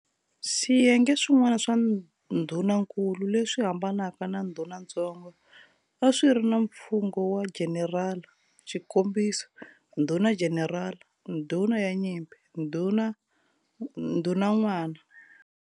Swiyenge swin'wana swa ndhunankulu, leswi hambanaka na ndhunantsongo, a swi ri na mfungho wa"jenerala", xikombiso, ndhuna-jenerala, ndhuna ya nyimpi, ndhunan'wana.